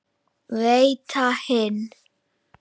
Veita hinn